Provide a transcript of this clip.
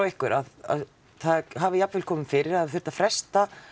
ykkur að það hafi jafnvel komið fyrir að þurft að fresta